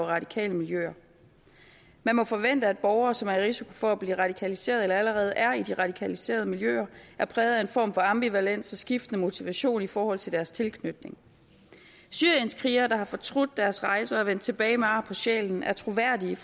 radikale miljøer man må forvente at borgere som er i risiko for at blive radikaliseret eller allerede er i de radikaliserede miljøer er præget af en form for ambivalens og skiftende motivation i forhold til deres tilknytning syrienskrigere der har fortrudt deres rejser og er vendt tilbage med ar på sjælen er troværdige